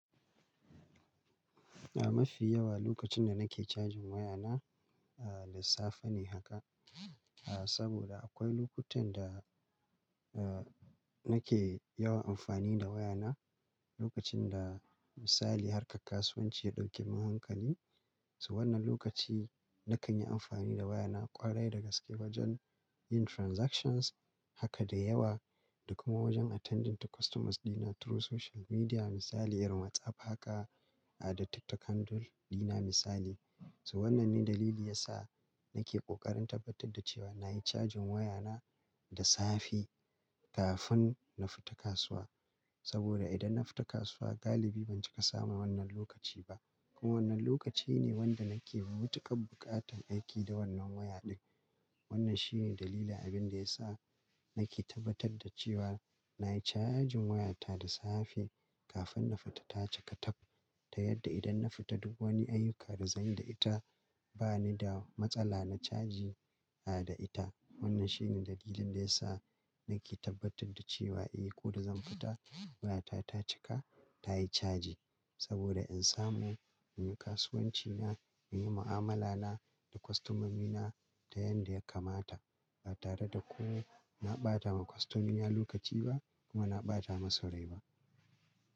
A mafi yawa lokacin da nake charging waya na, a lissafa ne haka. A saboda akwai lokutan da, a nake yawan amfani da waya na, lokacin da misali harkar kasuwanci ya ɗauke min hankali. To wannan lokaci nakan yi amfani da waya na a ƙwarai da gaske wajen yin transactions haka da yawa da kuma wajen attending to customers dina through social media misali irin WhatsApp haka a da TikTok handle dina misali. To wannan ne dalili yasa nake ƙoƙarin tabbatar da cewa nayi cajin waya na da safe kafin na fita kasuwa. Saboda idan na fita kasuwa galibi ban cika samu wannan lokaci ba. Kuma wannan lokaci ne wanda nake yi mutaƙa buƙatan aiki da wannan waya ɗin. Wannan shi ne dalilin abin da ya sa nake tabbatar da cewa nayi cajin waya ta da safe kafin na fita ta cika taf. Ta yadda idan na fita duk wani ayyuka da zan yi da ita bani da matsala na caji a da ita. Wannan shine dalilin da ya sa nake tabbatar da cewa eh ko da zan fita waya ta ta cika ta yi caji. Saboda in samu in yi kasuwanci na, in yi mu'amala na da kostomomina ta yanda ya kamata ba tare da ko na ɓata wa kostomina lokaci ba kuma na ɓata masu rai ba.